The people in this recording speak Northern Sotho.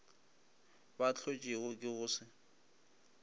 bo hlotšwego ke go se